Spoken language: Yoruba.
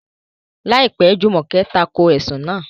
Láìpẹ́, Jùmọ̀kẹ́ tako ẹ̀sùn náà.